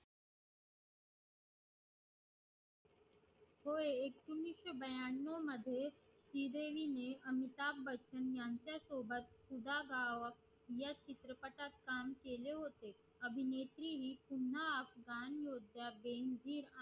होय एकोणीशे ब्यानव मध्ये श्री देवी ने अमिताब बच्चन यांच्या सोबत या चित्रपटात काम केले होते अभिनेत्रीने पुन्हा स्थान